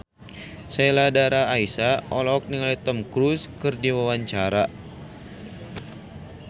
Sheila Dara Aisha olohok ningali Tom Cruise keur diwawancara